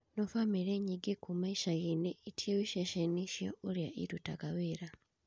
No bamĩrĩ nyingĩ kuuma icagi-inĩ itiũĩ cecheni icio na ũrĩa irutaga wĩra